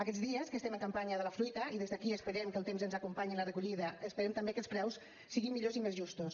aquests dies que estem en campanya de la fruita i des d’aquí esperem que el temps ens acompanyi en la recollida esperem també que els preus siguin millors i més justos